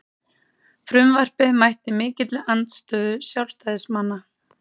Frumvarpið mætti mikilli andstöðu sjálfstæðismanna